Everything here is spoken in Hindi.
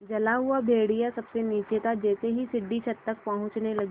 जला हुआ भेड़िया सबसे नीचे था जैसे ही सीढ़ी छत तक पहुँचने लगी